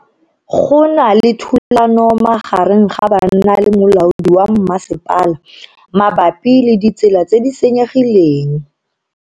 Go na le thulano magareng ga banna le molaodi wa masepala mabapi le ditsela tse di senyegileng.